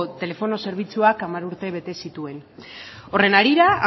telefono zerbitzuak hamar urte bete zituen horren harira